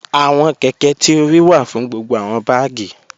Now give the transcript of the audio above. Awọn kẹ̀kẹ̀ ti o ríì wà fún gbogbo awọn bágì.